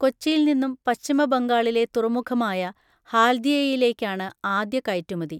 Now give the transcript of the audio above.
കൊച്ചിയിൽ നിന്നും പശ്ചിമബംഗാളിലെ തുറമുഖമായ ഹാൽദിയയിലേക്കാണ് ആദ്യ കയറ്റുമതി.